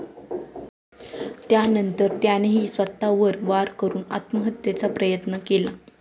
त्यानंतर त्यानेही स्वतःवर वार करून आत्महत्येचा प्रयत्न केला